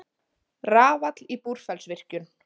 Rafall í Búrfellsvirkjun.